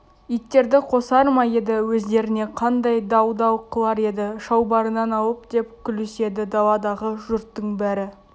иттерді қосар ма еді өздеріне қандай дал-дал қылар еді шалбарынан алып деп күліседі даладағы жұрттың бәрі